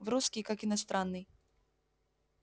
и русский как иностранный